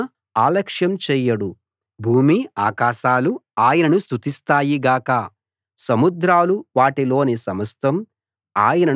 భూమీ ఆకాశాలూ ఆయనను స్తుతిస్తాయి గాక సముద్రాలు వాటిలోని సమస్తం ఆయనను స్తుతిస్తాయి గాక